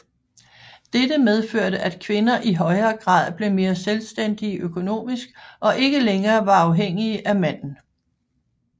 Dette medførte at kvinder i højere grad blev mere selvstændige økonomisk og ikke længere var afhængige af manden